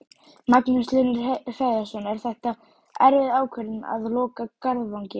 Magnús Hlynur Hreiðarsson: Er þetta erfið ákvörðun að loka Garðvangi?